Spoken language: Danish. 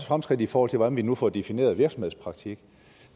fremskridt i forhold til hvordan vi nu får defineret virksomhedspraktik